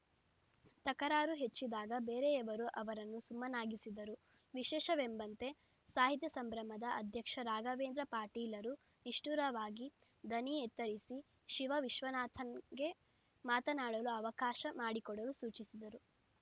ತಕರಾರು ಹೆಚ್ಚಿದಾಗ ಬೇರೆಯವರು ಅವರನ್ನೂ ಸುಮ್ಮನಾಗಿಸಿದರು ವಿಶೇಷವೆಂಬಂತೆ ಸಾಹಿತ್ಯ ಸಂಭ್ರಮದ ಅಧ್ಯಕ್ಷ ರಾಘವೇಂದ್ರ ಪಾಟೀಲರು ನಿಷ್ಠುರವಾಗಿ ದನಿ ಎತ್ತರಿಸಿ ಶಿವ ವಿಶ್ವನಾಥನ್‌ಗೆ ಮಾತನಾಡಲು ಅವಕಾಶ ಮಾಡಿಕೊಡಲು ಸೂಚಿಸಿದರು